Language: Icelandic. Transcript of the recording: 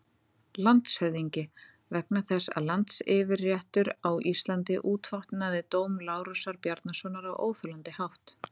LANDSHÖFÐINGI: Vegna þess að landsyfirréttur á Íslandi útvatnaði dóm Lárusar Bjarnasonar á óþolandi hátt.